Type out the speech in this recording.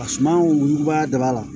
A suma wuguba de b'a la